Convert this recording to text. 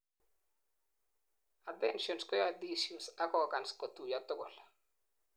adhesions koyoe tissues ak organs kotuiyo tugul